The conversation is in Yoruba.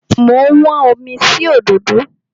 Mo ń wọ́n omi sí òdòdó.